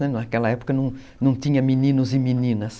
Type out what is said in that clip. Naquela época não tinha meninos e meninas.